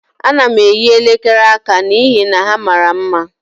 Ana m eyi elekere aka n'ihi na ha mara mma.